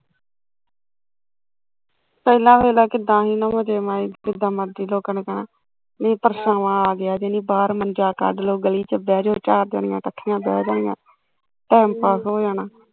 ਪਹਿਲਾਂ ਦੇਖਲਾ ਕਿੱਦਾਂ ਸੀ ਜਿਦਾਂ ਮਰਜ਼ੀ ਲੋਕਾਂ ਨੇ ਕਹਿਣਾ, ਵੀ ਪਰਛਾਵਾਂ ਆਗਿਆ ਨੀ ਬਾਹਰ ਮੰਜਾ ਕੱਢਲੋ ਗਲੀ ਚ ਬਹਿਜੋ ਚਾਰ ਜਣੀਆ ਕੱਠੀਆ ਬਹਿ ਗਈਆ ਟੈਮ ਪਾਸ ਹੋ ਜਾਣਾ